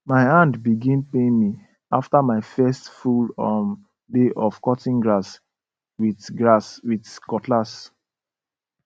my hand begin pain me after my first full um day of cutting grass with grass with cutlass